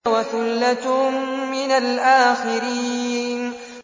وَثُلَّةٌ مِّنَ الْآخِرِينَ